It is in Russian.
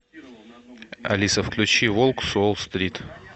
алиса включи волк с уолл стрит